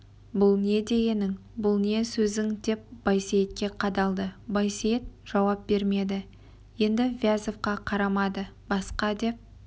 бұл не дегенің бұл не сөзің деп байсейітке қадалды байсейіт жауап бермеді енді вязовқа қарамады басқа деп